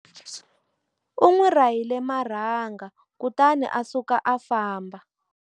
U n'wi rahile marhanga kutani a suka a famba.